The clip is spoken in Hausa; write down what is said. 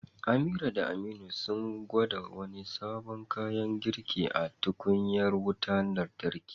Amira da Aminu sun gwada wani sabon kayan girki a tukunyar wutar lantarki.